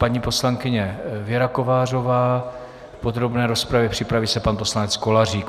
Paní poslankyně Věra Kovářová v podrobné rozpravě, připraví se pan poslanec Kolářík.